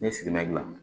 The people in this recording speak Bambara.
N ye sigimɛ dilan